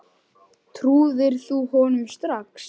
Trúðir þú honum strax?